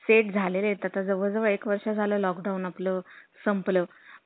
fake झालेलेत आता जवळ जवळ एक वर्ष झालं lockdown आपला संपलं